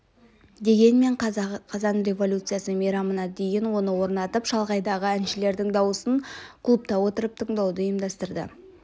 дегенмен қазан революциясы мейрамына дейін оны орнатып шалғайдағы әншілердің дауысын клубта отырып тыңдауды ұйымдастырды